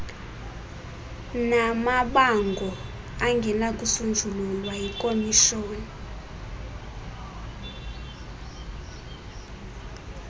namabango angenakusonjululwa yikhomishoni